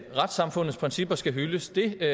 retssamfundets principper skal hyldes det